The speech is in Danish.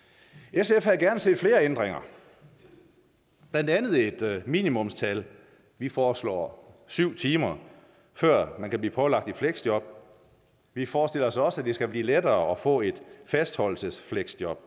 sf havde gerne set flere ændringer blandt andet et minimumstal vi foreslår syv timer før man kan blive pålagt et fleksjob vi forestiller os også at det skal blive lettere at få et fastholdelsesfleksjob